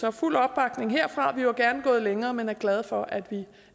er fuld opbakning herfra vi var gerne gået længere men er glade for at vi